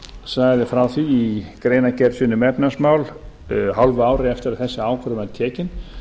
sagði frá því í greinargerð sinni um efnahagsmál hálfu ári eftir að þessi ákvörðun var tekin